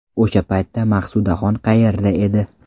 O‘sha paytda Maqsudaxon qayerda edi?